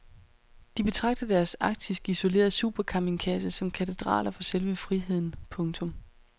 De betragter deres arktisk isolerede supercampingkasser som katedraler for selve friheden. punktum